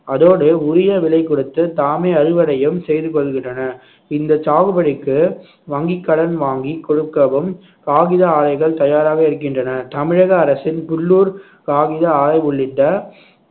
அதோடு உரிய விலை கொடுத்து தாமே அறுவடையும் செய்து கொள்கின்றன இந்த சாகுபடிக்கு வங்கிக்கடன் வாங்கி கொடுக்கவும் காகித ஆலைகள் தயாராக இருக்கின்றன தமிழக அரசின் புல்லூர் காகித ஆலை உள்ளிட்ட